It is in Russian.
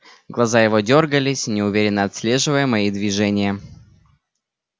глаза его дёргались неуверенно отслеживая мои движения